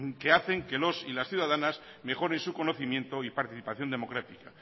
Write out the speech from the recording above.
que hacen que los y las ciudadanas mejoren su conocimiento y participación democrática